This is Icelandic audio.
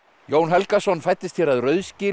Jón Helgason fæddist hér að Rauðsgili í